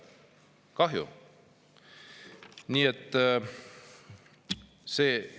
Kahju!